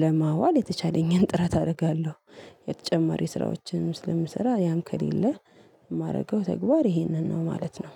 ለማዋል የተቻለኝን ጥረት አደርጋለሁ። የተጨማሪ ስራዎችን ስለምሰራ ያም ከሌለ የማደርገው ተግባር ይሄንን ነው ማለት ነው።